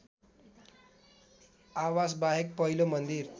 आवासबाहेक पहिलो मन्दिर